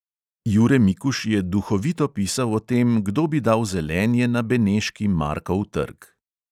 Jure mikuž je duhovito pisal o tem, kdo bi dal zelenje na beneški markov trg.